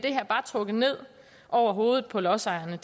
trukket ned over hovedet på lodsejerne